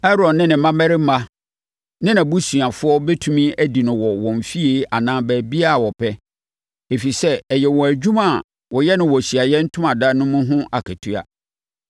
Aaron ne ne mmammarima ne nʼabusuafoɔ bɛtumi adi no wɔ wɔn fie anaa baabiara a wɔpɛ, ɛfiri sɛ, ɛyɛ wɔn adwuma a wɔyɛ no wɔ Ahyiaeɛ Ntomadan mu no ho akatua.